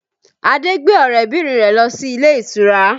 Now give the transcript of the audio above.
Adé gbé ọrẹ bìnrin rẹ lọ sí ilé ìtura